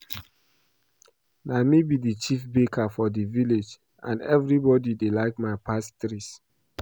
Na me be the Chief baker for my village and everybody dey like my pastries